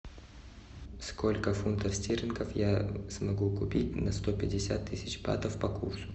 сколько фунтов стерлингов я смогу купить на сто пятьдесят тысяч батов по курсу